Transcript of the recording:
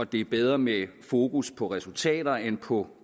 det er bedre med fokus på resultater end på